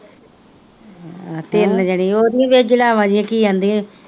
ਅਹ ਤਿੰਨ ਜਣੇ ਉਹ ਵੀ ਨਹੀਂ ਚੜਾਵਾ ਜਿਹਾ ਕੀ ਕਹਿੰਦੇ